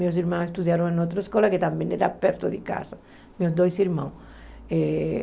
Meus irmãos estudaram em outra escola, que também era perto de casa, meus dois irmãos.